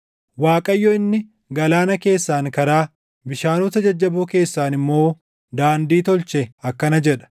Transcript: Waaqayyo inni, galaana keessaan karaa, bishaanota jajjaboo keessaan immoo daandii tolche akkana jedha;